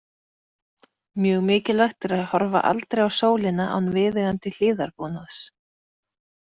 Mjög mikilvægt er að horfa aldrei á sólina án viðeigandi hlífðarbúnaðs.